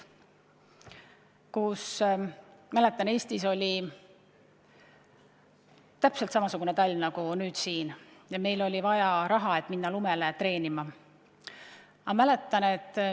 Ma mäletan, et Eestis oli täpselt samasugune talv nagu tänavu ja meil oli vaja raha, et minna lumele treenima.